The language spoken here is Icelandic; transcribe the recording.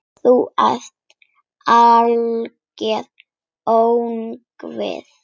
Þú ert algert öngvit!